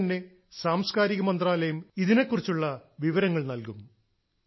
ഉടൻ തന്നെ സാംസ്ക്കാരിക മന്ത്രാലയം ഇതിനെക്കുറിച്ചുള്ള വിവരങ്ങൾ നൽകും